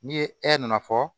Ni ye nana fɔ